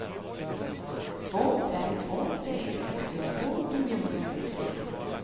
två fem två tre sextiotvå niohundrafyrtiofyra